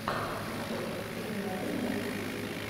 рецепт катерина рей на ютюбе